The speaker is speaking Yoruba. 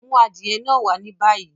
Mú adiẹ̀ náà wà ní báyí!